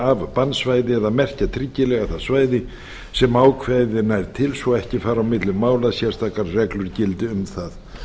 af bannsvæði eða merkja tryggilega það svæði sem ákvæðið nær til svo ekki fari á milli mála að sérstakar reglur gildi um það